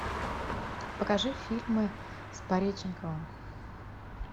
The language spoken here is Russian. покажи фильмы с пореченковым